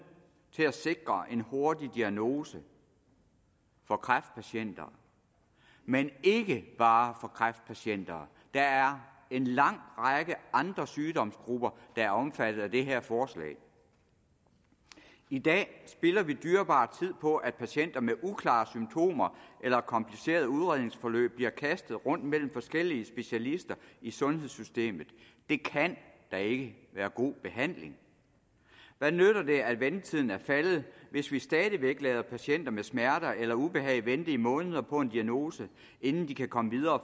til at sikre en hurtig diagnose for kræftpatienter men ikke bare for kræftpatienter der er en lang række andre sygdomsgrupper der er omfattet af det her forslag i dag spilder vi dyrebar tid på at patienter med uklare symptomer eller komplicerede udredningsforløb bliver kastet rundt mellem forskellige specialister i sundhedssystemet det kan da ikke være god behandling hvad nytter det at ventetiden er faldet hvis vi stadig væk lader patienter med smerter eller ubehag vente i måneder på en diagnose inden de kan komme videre og